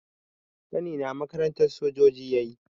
Ƙanina makarantar sojoji yayi